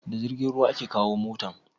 Da jirgin ruwa a ka kawo motan?